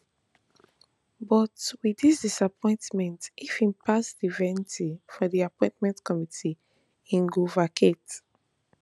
but wit dis appointment if im pass di vetting for di appointment committee im go vacate